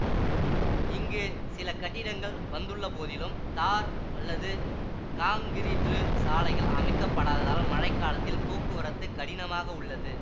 இங்கு சில கட்டிடங்கள் வந்துள்ளபோதிலும் தார் அல்லது காங்கிறீற்று சாலைகள் அமைக்கப்படாததால் மழை காலத்தில் போக்குவரத்து கடினமாக உள்ளது